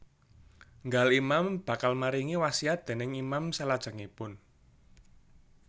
Nggal Imam bakal maringi wasiat déning Imam salajengipun